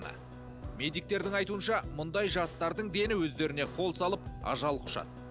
медиктердің айтуынша мұндай жастардың дені өздеріне қол салып ажал құшады